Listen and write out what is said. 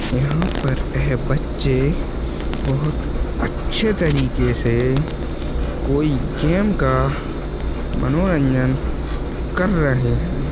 यहाँ पर एह बच्चे बहुत अच्छे तरीके से कोई गेम का मनोरंजन कर रहे है।